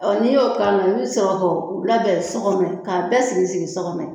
Ɔ n'i y'o ka la i bi sɔrɔ k'o o labɛn sɔgɔnɔ k'a bɛɛ sigi sigi sɔgɔnɔ yen